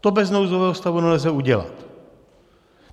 To bez nouzového stavu nelze udělat.